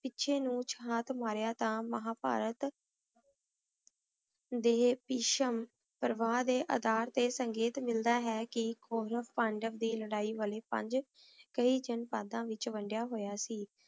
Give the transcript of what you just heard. ਪਿਛੇ ਨੂ ਚਾਕ ਮਰਯ ਤਾਂ ਮਹਾਭਾਰਤ ਦੇ ਇਸ਼ਮ ਪਰਵਾਰ ਦੇ ਅਤਾ ਤੇ ਸੰਗੀਤ ਮਿਲਦਾ ਹੈ ਕੀ ਗੌਰਵ ਪਾਂਡਵ ਦੀ ਲਾਰੀ ਵਾਲੇ ਪੰਜ ਕਈ ਜਨਪਦਾਂ ਵਿਚ ਵਾਨ੍ਦ੍ਯਾ ਹੋਯਾ ਸੀ